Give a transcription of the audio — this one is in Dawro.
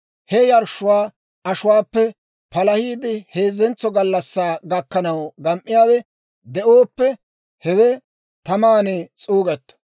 He yarshshuwaa ashuwaappe palahiide heezzentso gallassaa gakkanaw gam"iyaawe de'ooppe, hewe taman s'uugetto.